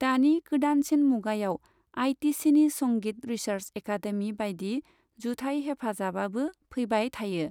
दानि गोदानसिन मुगायाव, आइटिसिनि संगित रिसार्स एकादेमि बायदि जुथाइ हेफाजाबाबो फैबाय थायो।